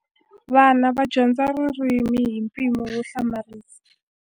Vana va dyondza ririmi hi mpimo wo hlamarisa.